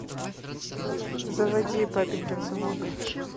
заводи папенькин сынок